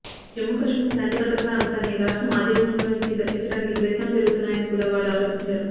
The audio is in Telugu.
జమ్ము కశ్మీర్ శాంతి భద్రతల అంశాన్ని రాష్ట్రం అధీనంలోంచి తప్పించడానికి ప్రయత్నాలు జరుగుతున్నాయని కూడా వారు ఆరోపించారు